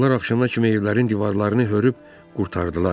Onlar axşama kimi evlərin divarlarını hörüb qurtardılar.